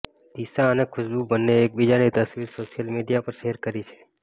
દિશા અને ખુશબુ બંને એકબીજાની તસવીર સોશિયલ મીડિયામાં શેયર કરી છે